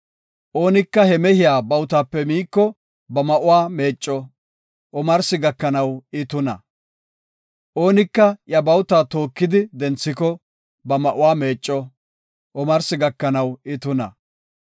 Oonika he mehiya bawutape miiko, ba ma7uwa meecco; omarsi gakanaw I tuna. Oonika iya bawuta tookidi denthiko, ba ma7uwa meecco; omarsi gakanaw I tuna.